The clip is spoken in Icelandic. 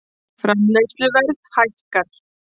Framleiðsluverð hækkar